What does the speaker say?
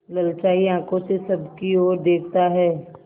ललचाई आँखों से सबकी और देखता है